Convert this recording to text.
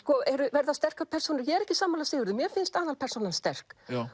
verða sterkar persónur ég er ekki sammála Sigurði mér finnst aðalpersónan sterk